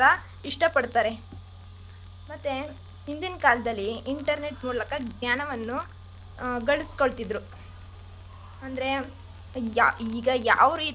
ಮಾತ್ರ ಇಷ್ಟ ಪಡ್ತಾರೆ ಮತ್ತೆ ಇಂದಿನ ಕಾಲದಲ್ಲಿ internet ಮೂಲಕ ಜ್ಞಾನವನ್ನು ಗಳಿಸ್ಕೊಳ್ತಿದ್ರು ಅಂದ್ರೆ ಈಗ ಈಗ ಯಾವ್ ರೀತಿ.